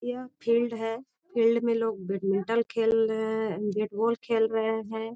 यह फील्ड है फील्ड में लोग बैडमिंटन खेल रहे बैट बॉल खेल रहे हैं।